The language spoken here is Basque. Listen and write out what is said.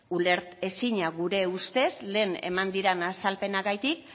ulertezina gure ustez lehen eman diran azalpenagatik